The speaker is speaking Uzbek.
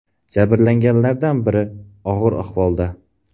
Jabrlanganlardan biri og‘ir ahvolda.